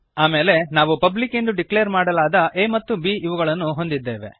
ಆಮೇಲೆ ನಾವು ಪಬ್ಲಿಕ್ ಎಂದು ಡಿಕ್ಲೇರ್ ಮಾಡಲಾದ a ಮತ್ತು b ಇವುಗಳನ್ನು ಹೊಂದಿದ್ದೇವೆ